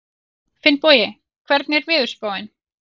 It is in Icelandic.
Finnbogi, hvernig er veðurspáin?